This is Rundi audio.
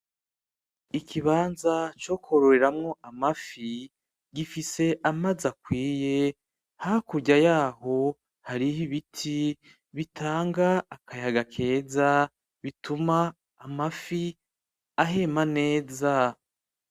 Ikibanza co kwororeramwo amafi, gifise amazi akwiye. Hakurya yaho hariho ibiti bitanga akayaga keza, bituma amafi ahema neza.